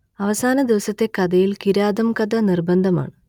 അവസാനദിവസത്തെ കഥയിൽ കിരാതംകഥ നിർബന്ധമാണ്